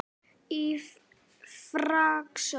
Í frásögn